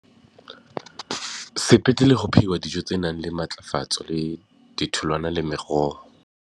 Sepetlele ho phehuwa dijo tse nang le matlafatso le ditholwana le meroho.